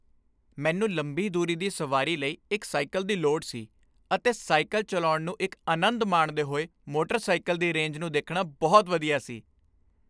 ਮੈਨੂੰ ਲੰਬੀ ਦੂਰੀ ਦੀ ਸਵਾਰੀ ਲਈ ਇੱਕ ਸਾਈਕਲ ਦੀ ਲੋੜ ਸੀ ਅਤੇ ਸਾਈਕਲ ਚਲਾਉਣ ਨੂੰ ਇੱਕ ਅਨੰਦ ਮਾਣਦੇ ਹੋਏ ਮੋਟਰ ਸਾਇਕਲ ਦੀ ਰੇਂਜ ਨੂੰ ਦੇਖਣਾ ਬਹੁਤ ਵਧੀਆ ਸੀ।